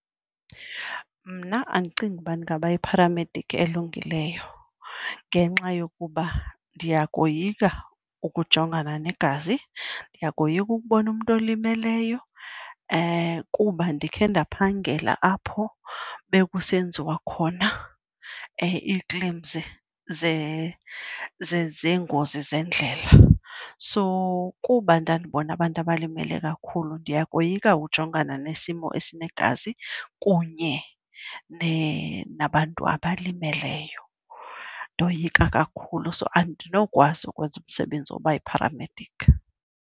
Mna andicingi uba ndingaba yipharamedikhi elungileyo ngenxa yokuba ndiyakoyika ukujongana negazi, ndiyakoyika ukubona umntu olimeleyo kuba ndikhe ndaphangela apho bekusenziwa khona ii-claims zeengozi zeendlela. So kuba ndandibona abantu abalimele kakhulu ndiyakoyika ujongana nesimo esinegazi kunye nabantu abalimeleyo, ndoyika kakhulu so andinokwazi ukwenza umsebenzi wokuba yipharamediki.